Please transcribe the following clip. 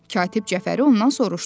Katib Cəfəri ondan soruşdu.